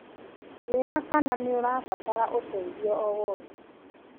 Njĩra kana nĩ ũrabatara ũteithio o wothe.